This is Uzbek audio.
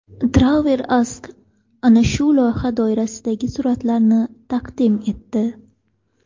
TravelAsk ana shu loyiha doirasidagi suratlarni taqdim etdi .